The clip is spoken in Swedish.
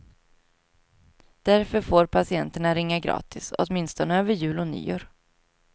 Därför får patienterna ringa gratis, åtminstone över jul och nyår.